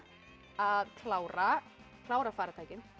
að klára klára farartækin